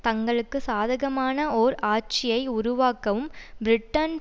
தங்களுக்கு சாதகமான ஓர் ஆட்சியை உருவாக்கவும் பிரிட்டன்